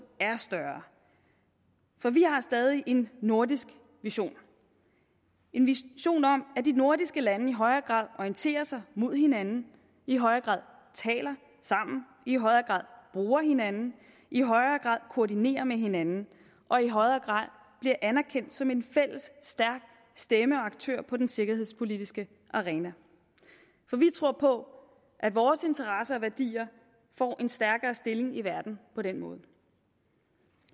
er større for vi har stadig en nordisk vision en vision om at de nordiske lande i højere grad orienterer sig mod hinanden i højere grad taler sammen i højere grad bruger hinanden i højere grad koordinerer med hinanden og i højere grad bliver anerkendt som en fælles stærk stemme og aktør på den sikkerhedspolitiske arena for vi tror på at vores interesser og værdier får en stærkere stilling i verden på den måde